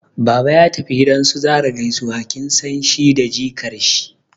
Baba ya tafi gidan su Zarah gaisuwa, kin san shi da jikar shi